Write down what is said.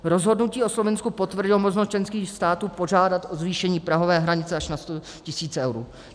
Rozhodnutí o Slovinsku potvrdilo možnost členských států požádat o zvýšení prahové hranice až na 100 tisíc eur.